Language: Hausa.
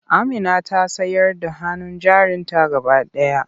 Amina ta sayar da hannun jarinta gaba ɗaya.